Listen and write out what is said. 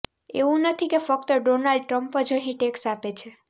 એવું નથી કે ફક્તડોનાલ્ડ ટ્રમ્પ જ અહીં ટેક્સ આપે છે